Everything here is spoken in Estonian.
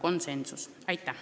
Aitäh!